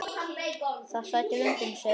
Það sætir undrum segir hann.